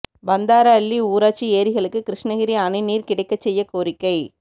பந்தாரஅள்ளி ஊராட்சி ஏரிகளுக்கு கிருஷ்ணகிரி அணை நீா் கிடைக்கச் செய்யக் கோரிக்கை